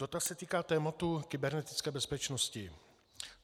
Dotaz se týká tématu kybernetické bezpečnosti.